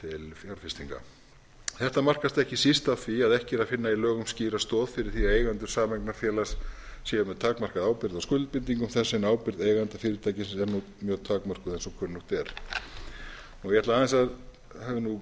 fjárfestinga þetta markast ekki síst af því að ekki er að finna í lögum skýra stoð fyrir því að eigendur sameignarfélags séu með takmarkaða ábyrgð á skuldbindingum þess en ábyrgð eigenda fyrirtækisins er nú mjög takmörkuð eins og kunnugt er ég hef takmarkaðan tíma til